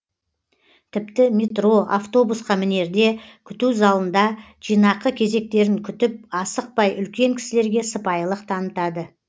тіпті метро автобусқа мінерде күту залында жинақы кезектерін күтіп асықпай үлкен кісілерге сыпайылық танытады